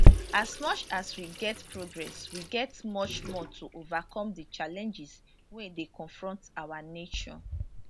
as much as we get progress we get much more to overcome di challenges wey dey confront our nation